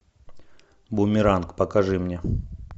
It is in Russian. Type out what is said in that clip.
бумеранг покажи мне